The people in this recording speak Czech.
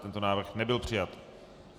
Tento návrh nebyl přijat.